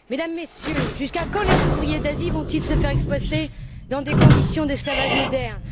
Mesdames et Messieurs, jusqu'à quand les ouvriers d'Asie vont ils se faire exploiter dans des conditions d'esclavage moderne?